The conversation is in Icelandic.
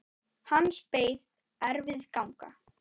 Hans beið erfið ganga.